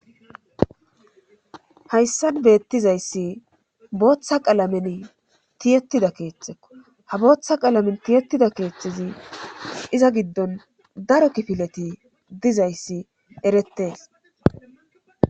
Hayssan beettizayssi booththa qalamen tiyettida keeththekko ha booththa qalamen tiyetida keeththizi iza giddon daro kifileti dizayssi eretees.